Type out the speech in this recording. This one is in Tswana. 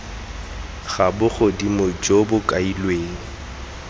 ga bogodimo jo bo kailweng